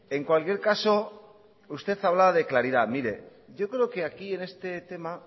en cualquier caso usted hablaba de claridad mire yo creo que aquí en este tema